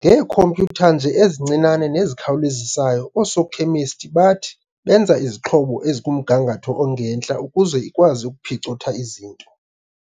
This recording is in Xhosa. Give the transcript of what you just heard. ngeekhompyutha nje ezincinane nezikhawulezisayo, oosokhemisti bathi benza izixhobo ezikumgangatho ongentla ukuze ikwazi ukuphicotha izinto.